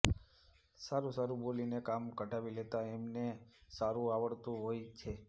સારું સારું બોલીને કામ કઢાવી લેતાં એમને સારું આવડતું હોય છે